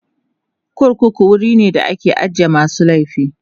korkuku wuri be da ake ajiye masu laifi